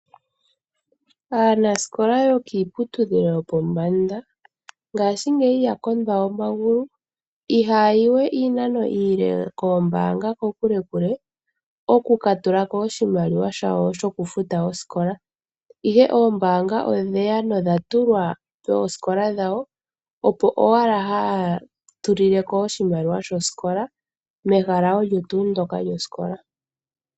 Aanasikola yokiiputudhilo yopombanda ngashingeyi ya kondwa omagulu. Ihaayi we iinano iile koombaanga kokulekule okukatulako oshimaliwa shawo shoku futa osikola. Ihe oombaanga odheya nodha tulwa poosikola dhawo, opo owala haya tulileko oshimaliwa shosikola mehala olyo tuu ndoka lyosikola.